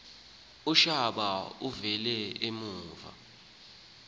utshaba ukuba luyigwaze